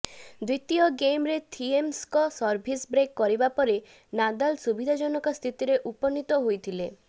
ଦ୍ୱିତୀୟ ଗେମରେ ଥିଏମଙ୍କ ସର୍ଭିସ ବ୍ରେକ କରିବାପରେ ନାଦାଲ ସୁବିଧାଜନକ ସ୍ଥିତିରେ ଉପନୀତ ହୋଇଥିଲେ